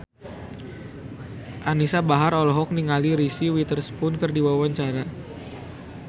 Anisa Bahar olohok ningali Reese Witherspoon keur diwawancara